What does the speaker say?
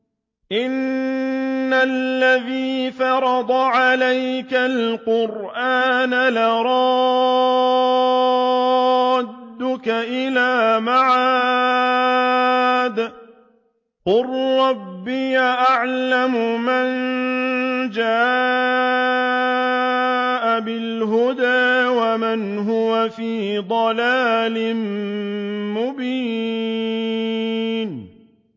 إِنَّ الَّذِي فَرَضَ عَلَيْكَ الْقُرْآنَ لَرَادُّكَ إِلَىٰ مَعَادٍ ۚ قُل رَّبِّي أَعْلَمُ مَن جَاءَ بِالْهُدَىٰ وَمَنْ هُوَ فِي ضَلَالٍ مُّبِينٍ